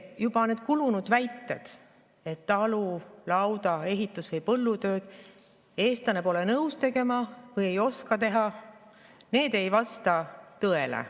Need juba kulunud väited, et talu-, lauda-, ehitus- või põllutööd eestlane pole nõus tegema või ei oska teha, ei vasta tõele.